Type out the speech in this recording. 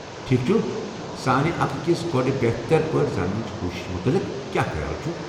ٹھیٖکھ چھُ، سٲنِہ اکھ أکس گوڈٕ بہتر پٲٹھۍ زاننٕچہِ كوٗشِشہِ مُتعلق كیاہ خیال چُھ ؟